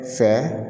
Fa